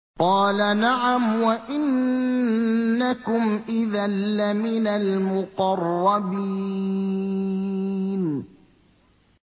قَالَ نَعَمْ وَإِنَّكُمْ إِذًا لَّمِنَ الْمُقَرَّبِينَ